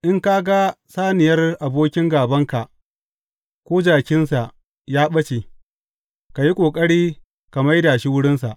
In ka ga saniyar abokin gābanka, ko jakinsa ya ɓace, ka yi ƙoƙari ka mai da shi wurinsa.